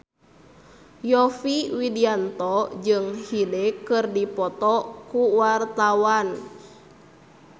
Yovie Widianto jeung Hyde keur dipoto ku wartawan